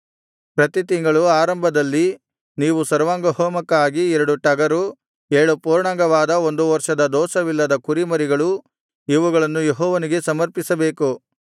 ಪ್ರತಿ ತಿಂಗಳ ಆರಂಭದಲ್ಲಿ ನೀವು ಸರ್ವಾಂಗಹೋಮಕ್ಕಾಗಿ ಎರಡು ಟಗರು ಏಳು ಪೂರ್ಣಾಂಗವಾದ ಒಂದು ವರ್ಷದ ದೋಷವಿಲ್ಲದ ಕುರಿಮರಿಗಳು ಇವುಗಳನ್ನು ಯೆಹೋವನಿಗೆ ಸಮರ್ಪಿಸಬೇಕು